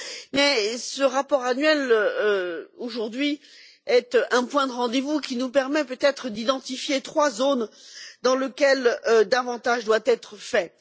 Mais ce rapport annuel, aujourd'hui, est un point de rendez vous qui nous permet peut être d'identifier trois domaines dans lesquels davantage doit être fait.